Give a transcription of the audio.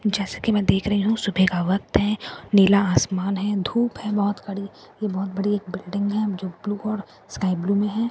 जैसा कि मैं देख रही हूं सुबह का वक्त है नीला आसमान है धूप है बहुत कड़वी यह बहुत बड़ी एक बिल्डिंग है जो ब्लू और स्काई ब्लू में है बिल्डिंग --